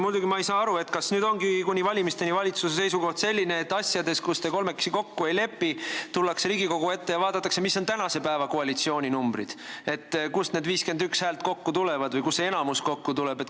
Muidugi ei saa ma aru, kas nüüd ongi kuni valimisteni valitsuse seisukoht selline, et asjadega, milles te kolmekesi kokku ei lepi, tullakse Riigikogu ette ja vaadatakse, mis on tänase päeva koalitsiooni numbrid, et kust need 51 häält kokku tulevad või kust see enamus kokku tuleb.